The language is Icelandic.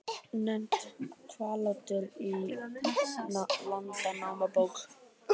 Nefnt Hvallátur í Landnámabók.